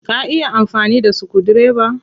Ka iya amfani da sukudireba?